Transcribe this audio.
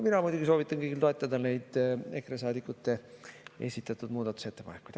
Mina muidugi soovitan kõigil toetada EKRE saadikute esitatud muudatusettepanekuid.